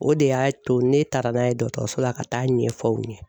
O de y'a to ne taara n'a ye dɔtɔrɔso la ka taa ɲɛfɔ u ye.